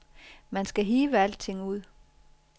Man skal hive alting ud.